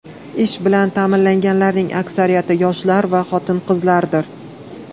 Ish bilan ta’minlanganlarning aksariyati yoshlar va xotin-qizlardir.